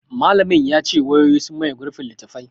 Malamin ya ce; wayoyi sun maye gurbin littattafai.